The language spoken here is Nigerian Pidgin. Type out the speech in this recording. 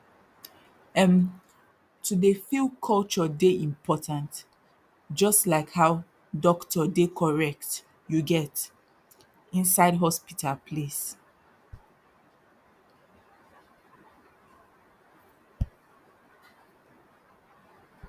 erm to dey feel culture dey important jus like how dokto dey correct you get inside hospital place